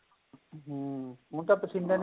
ਹਮ ਹੁਣ ਤਾਂ ਪਸੀਨੇ